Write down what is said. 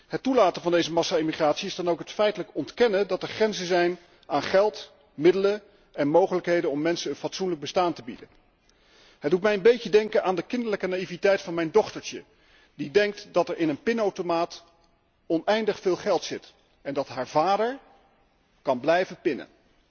Het toelaten van deze massa immigratie is dan ook het feitelijk ontkennen dat er grenzen zijn aan geld, middelen en mogelijkheden om mensen een fatsoenlijk bestaan te bieden. Het doet mij een beetje denken aan de kinderlijke naïviteit van mijn dochtertje, dat denkt dat er in een pinautomaat oneindig veel geld zit en dat haar vader kan blijven pinnen.